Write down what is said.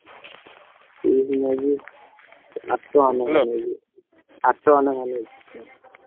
Piece ନଉଚି ଆଠ ଟଙ୍କା ଲେଖା ଆଠ ଟଙ୍କା ନେଖା ନଉଚି।